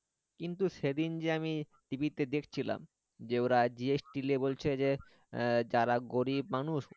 কিন্তু সেদিন যে আমি TV তে দেখছিলাম যে ও GST আর লেগে বলছে যে যারা গরিব মানুষ